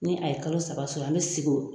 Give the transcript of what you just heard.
Ni a ye kalo saba sɔrɔ an bɛ sigin o